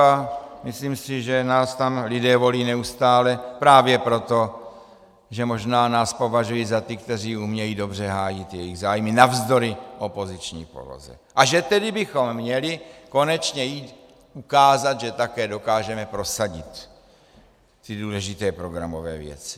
A myslím si, že nás tam lidé volí neustále právě proto, že možná nás považují za ty, kteří umějí dobře hájit jejich zájmy navzdory opoziční poloze, a že tedy bychom měli konečně jít ukázat, že také dokážeme prosadit ty důležité programové věci.